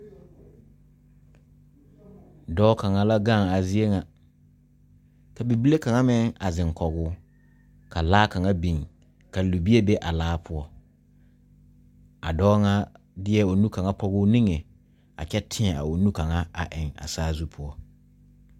Dɔɔ la gang ka bibile ziŋ kɔge o kyɛ ka laa biŋ ka libie be a laa pʋɔ.A dɔɔ de la o nu kaŋ pɔge o niŋe kyɛ teɛ a o nu kaŋ eŋ sazu pʋɔ.